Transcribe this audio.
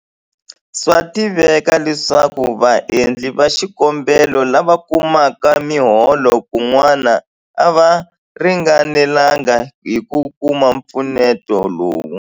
Swa tiveka leswaku vaendli va xikombelo lava kumaka miholo kun'wana a va ringanelanga hi ku kuma mpfuneto lowu.